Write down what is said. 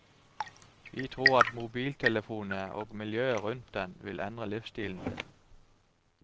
Vi tror at mobiltelefonene og miljøet rundt den vil endre livsstilen din.